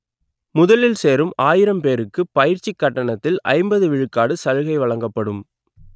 முதலில் சேரும் ஆயிரம் பேருக்கு பயிற்சி கட்டணத்தில் ஐம்பது விழுக்காடு சலுகை வழங்கப்படும்